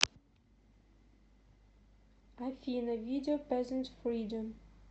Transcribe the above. афина видео пезнт фридом